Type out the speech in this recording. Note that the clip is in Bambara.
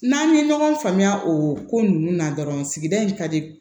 N'an ye ɲɔgɔn faamuya o ko ninnu na dɔrɔn sigida in ka di